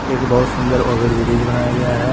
एक बहुत सुंदर ओवर ब्रिज बनाया गया है।